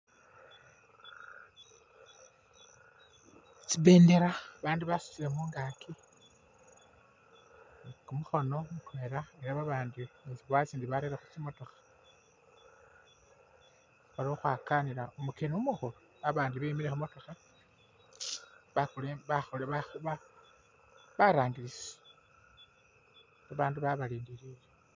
Tsipendera bandu basutile mungaaki ni kumukhono elah babandi itsindi barere khutsimotokha balikhukhwakanila umukeni umukhula abandi bemile khumutokha barangilisi